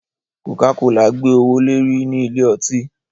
coca-cola gbe owole ri ní Ilé-ọtí.